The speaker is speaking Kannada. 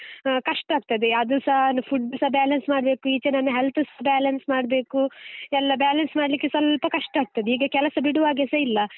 ಆ ಕಷ್ಟ ಆಗ್ತದೆ ಅದುಸಾ food ಸ balance ಮಾಡ್ಬೇಕು, ಈಚೆ ನನ್ನ health ಸ balance ಮಾಡ್ಬೇಕು, ಎಲ್ಲಾ balance ಮಾಡ್ಲಿಕ್ಕೆ ಸ್ವಲ್ಪ ಕಷ್ಟ ಆಗ್ತದೆ, ಈಗ ಕೆಲಸ ಬಿಡುವಾಗೆಸ ಇಲ್ಲ.